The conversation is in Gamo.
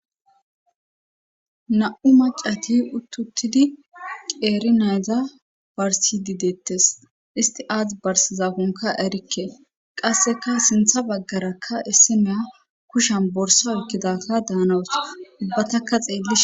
na7u macati uttuttidi qeeri nayza barsi gidettes isti aath barsizafonka erikke qasseka sintha baggarakka essemeya kushan borsa ekkidaka daanawos ubbataka xeelli